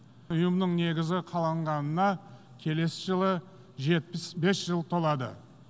ұйымның негізі қаланғанына келесі жылы жетпіс бес жыл толады